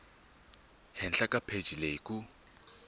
henhla ka pheji leyi ku